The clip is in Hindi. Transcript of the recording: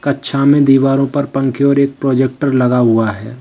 कक्षा में दीवारों पर पंखे और एक प्रोजेक्टर लगा हुआ है।